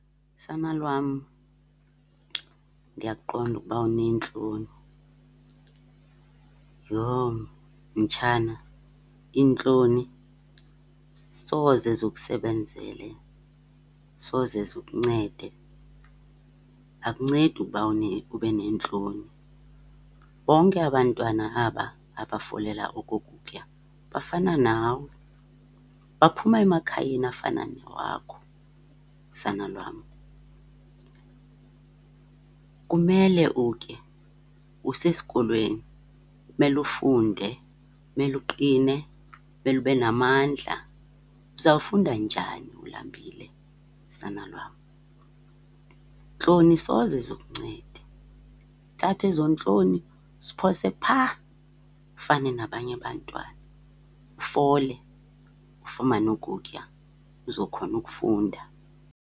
Sana lwam, ndiyakuqonda ukuba uneentloni. Yho, mtshana, iintloni soze zikusebenzele, soze zikuncede, akuncedi uba ube neentloni. Bonke aba 'ntwana aba abafolela oku kutya bafana nawe, baphuma emakhayeni afana nawakho sana lwam. Kumele utye, usesikolweni kumele ufunde, kumele uqine, kumele ube namandla. Uzawufunda njani ulambile sana lwam? Iintloni soze zikuncede. Thatha ezo ntloni uziphose phaa, ufane nabanye abantwana ufole, ufumane ukutya uzokhona ukufunda.